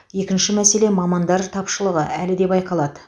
екінші мәселе мамандар тапшылығы әлі де байқалады